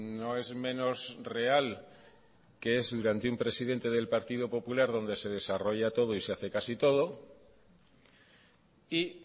no es menos real que es durante un presidente del partido popular donde se desarrolla todo y se hace casi todo y